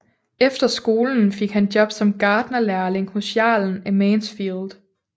Efter skolen fik han job som gartnerlærling hos Jarlen af Mansfield